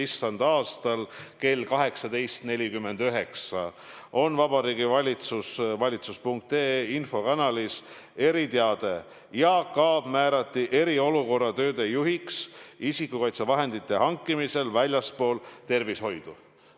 Issanda aastal kell 18.49 on Vabariigi Valitsuse valitsus.ee infokanalis eriteade: Jaak Aab määrati eriolukorra tööde juhiks isikukaitsevahendite hankimisel väljaspool tervishoidu.